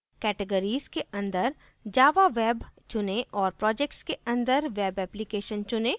categories के अंदर java web चुनें और projects के अंदर web application चुनें